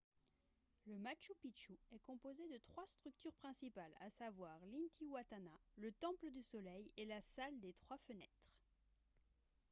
le machu picchu est composé de trois structures principales à savoir l'intihuatana le temple du soleil et la salle des trois fenêtres